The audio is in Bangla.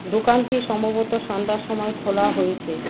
দোকানটি সম্ভবত সন্ধ্যার সময় খোলা হয়েছে।